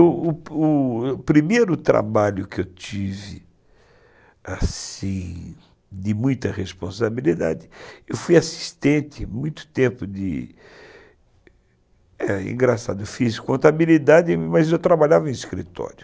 O primeiro trabalho que eu tive, assim, de muita responsabilidade, eu fui assistente muito tempo de... Engraçado, eu fiz contabilidade, mas eu trabalhava em escritório.